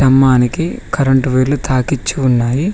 కమ్మానికి current వైర్లు తాకిచ్చి ఉన్నాయి.